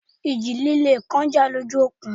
Ìjì líle kan jà lójú òkun